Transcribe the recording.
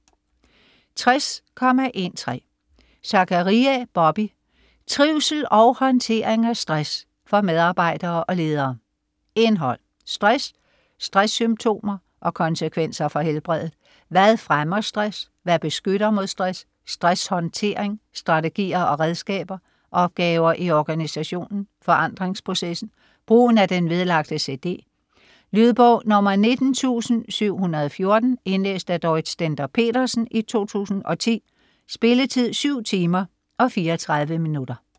60.13 Zachariae, Bobby: Trivsel og håndtering af stress: for medarbejdere og ledere Indhold (bog): Stress, stresssymptomer og konsekvenser for helbredet; Hvad fremmer stress? Hvad beskytter mod stress?; Stresshåndtering : strategier og redskaber; Opgaver i organisationen; Forandringsprocessen; Brugen af den vedlagte cd. Lydbog 19714 Indlæst af Dorrit Stender-Petersen, 2010. Spilletid: 7 timer, 34 minutter.